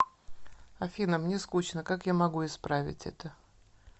афина мне скучно как я могу исправить это